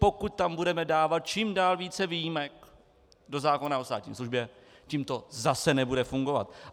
Pokud tam budeme dávat čím dál více výjimek do zákona o státní službě, tím to zase nebude fungovat.